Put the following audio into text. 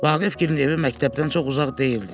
Vaqifgilin evi məktəbdən çox uzaq deyildi.